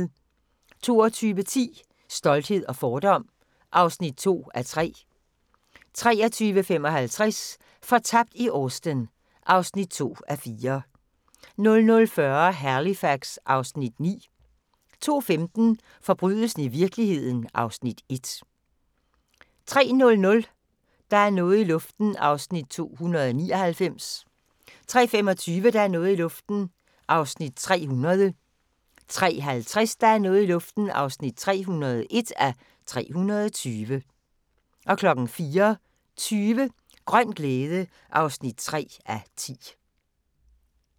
22:10: Stolthed og fordom (2:3) 23:55: Fortabt i Austen (2:4) 00:40: Halifax (Afs. 9) 02:15: Forbrydelsen i virkeligheden (Afs. 1) 03:00: Der er noget i luften (299:320) 03:25: Der er noget i luften (300:320) 03:50: Der er noget i luften (301:320) 04:20: Grøn glæde (3:10)